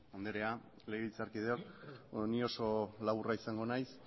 andrea legebiltzarkideok beno ni oso laburra izango naiz